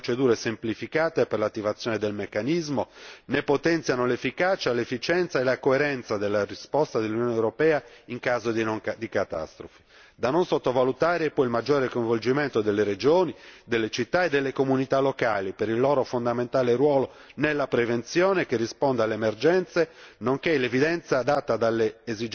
Le modifiche che propone introducono norme e procedure semplificate per l'attivazione del meccanismo, ne potenziano l'efficacia, l'efficienza e la coerenza della risposta dell'Unione europea in caso di catastrofi. Da non sottovalutare poi il maggiore coinvolgimento delle regioni, delle città e delle comunità locali per il loro fondamentale ruolo nella prevenzione che risponda alle emergenze,